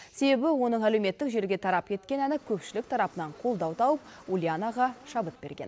себебі оның әлеуметтік желіге тарап кеткен әні көпшілік тарапынан қолдау тауып ульянаға шабыт берген